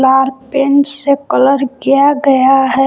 Are paint से colour किया गया है।